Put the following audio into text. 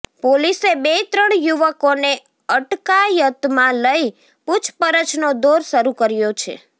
પોલીસે બે ત્રણ યુવકોને અટકાયતમાં લઇ પૂછપરછનો દૌર શરૃ કર્યો છે